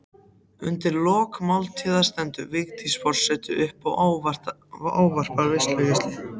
Undir lok máltíðar stendur Vigdís forseti upp og ávarpar veislugesti.